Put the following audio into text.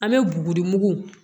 An bɛ buguri mugu